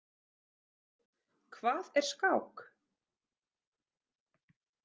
Hvað er skák?